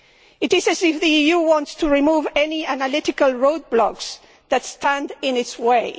It is as if the EU wants to remove any analytical road blocks that stand in its way.